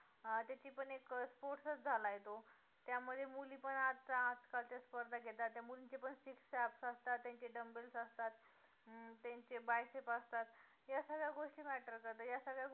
त्याची पण एक sports च झाला आहे तो त्या मध्ये मुली पण आता आज काल च्या स्पर्धेत घेतात त्या मुलींच्या पण six abs असतात त्यांचे bumble असतात, अं त्यांचे biceps असतात या सगळ्या गोष्टी matter करतात या सगळ्या गोष्टी